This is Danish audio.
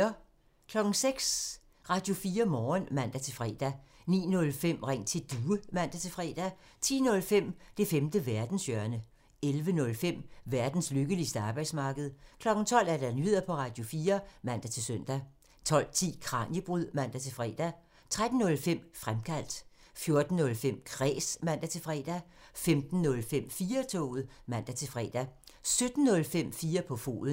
06:00: Radio4 Morgen (man-fre) 09:05: Ring til Due (man-fre) 10:05: Det femte verdenshjørne (man) 11:05: Verdens lykkeligste arbejdsmarked (man) 12:00: Nyheder på Radio4 (man-søn) 12:10: Kraniebrud (man-fre) 13:05: Fremkaldt (man) 14:05: Kræs (man-fre) 15:05: 4-toget (man-fre) 17:05: 4 på foden (man)